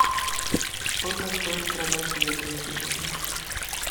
сколько стоит продать евро сегодня